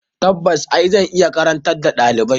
Tabbas e! Zan iya karantar da ɗalibai.